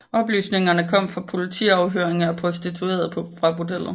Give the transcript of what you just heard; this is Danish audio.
Oplysningerne kom fra politiafhøringer af prostituerede fra bordellet